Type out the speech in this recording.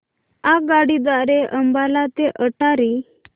आगगाडी द्वारे अंबाला ते अटारी